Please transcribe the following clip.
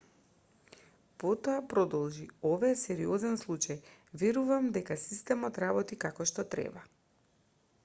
потоа продолжи ова е сериозен случај верувам дека системот работи како што треба